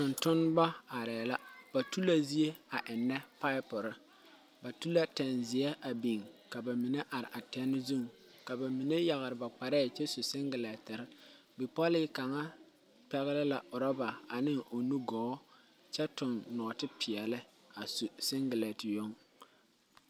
Tungtumba arẽ la ba tula zee a enna pipuru ba tu la tangzei a bing ka ba mene arẽ a ten zung ka ba mene yagre ba kparee kye su singileetiri bipɔlee kanga pɛgle la rubare ane ɔ nu gɔɔ kye tung noɔti peɛle asu singileeti yong.